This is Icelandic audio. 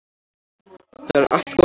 Það er allt gott fólk